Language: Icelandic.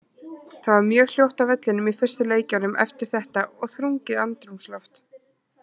Það var mjög hljótt á vellinum í fyrstu leikjunum eftir þetta og þrungið andrúmsloft.